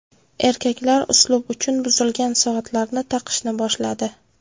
Erkaklar uslub uchun buzilgan soatlarni taqishni boshladi.